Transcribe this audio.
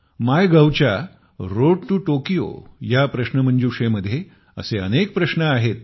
मायगव्हच्या road to Tokyo Tokyo ला जाण्याचा मार्ग ह्या प्रश्नोत्तरीमध्ये असे अनेक प्रश्न आहेत